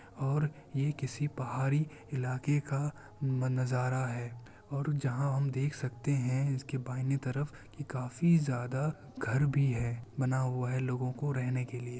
और ये किसी पहाड़ी इलाके का नजारा हैं और जहाँ हम देख सकते हैं इसके बाइयने तरफ भी काफी ज्यादा घर भी हैं बना हुआ है लोगो को रहे ने के लिए।